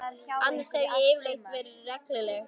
Annars hef ég yfirleitt verið regluleg.